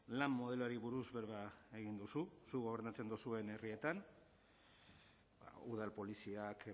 lan modeloari buruz berba egin duzu zuek gobernatzen duzuen herrietan udal poliziak